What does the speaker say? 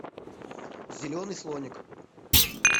зеленый слоник